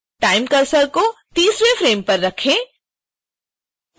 time cursor को 30